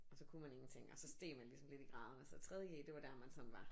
Og så kunne man ingenting og så steg man ligesom lidt i graderne så tredje g det var der man sådan var